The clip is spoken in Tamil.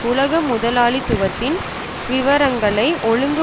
உலக முதலாளித்துவத்தின் விவரங்களை ஒழுங்கு